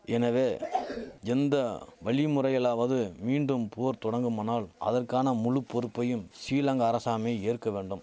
எனவே எந்த வழிமுறையிலாவது மீண்டும் போர் தொடங்குமானால் அதற்கான முழு பொறுப்பையும் சிலங்கா அரசாமை ஏற்க வேண்டும்